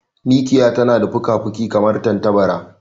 Mikiya tana da fukafuki kamar tantabara.